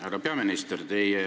Härra peaminister!